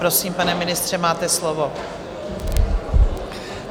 Prosím, pane ministře, máte slovo.